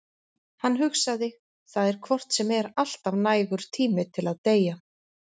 Hann hugsaði: Það er hvort sem er alltaf nægur tími til að deyja.